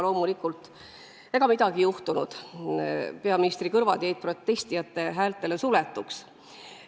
Loomulikult, ega midagi ei juhtunud, peaministri kõrvad jäid protestijate häältele suletuks.